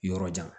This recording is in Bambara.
Yɔrɔ jan